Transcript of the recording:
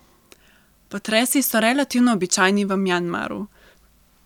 Potresi so relativno običajni v Mjanmaru.